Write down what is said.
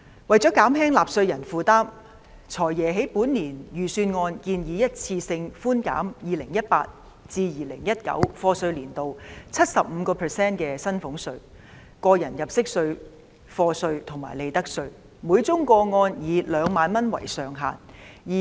為了減輕納稅人負擔，"財爺"在本年度的財政預算案建議一次性寬減 2018-2019 課稅年度 75% 的薪俸稅、個人入息課稅及利得稅，每宗個案以2萬元為上限。